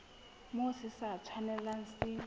moo se sa tshwanelang se